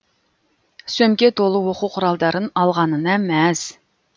сөмке толы оқу құралдарын алғанына мәз